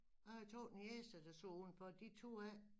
Jeg har 2 niecer der stod udenfor de turde ikke